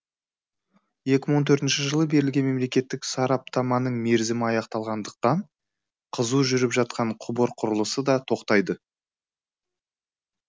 екі сың он төртінші жылы берілген мемлекеттік сараптаманың мерзімі аяқталғандықтан қызу жүріп жатқан құбыр құрылысы да тоқтайды